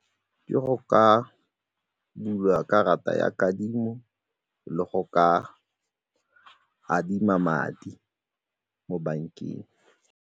Ke go ka bula karata ya kadimo le go ka adima madi mo bankeng.